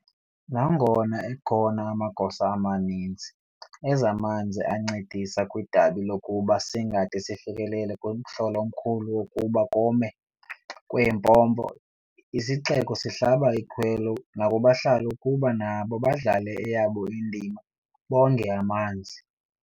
Nangona ekhona amagosa amaninzi ezamanzi ancedisa kwidabi lokuba singade sifikelele kumhl'omkhulu wokuba kome kweempompo, isixeko sihlaba ikhwelo nakubahlali ukuba nabo badlale eyabo indima, bonge amanzi.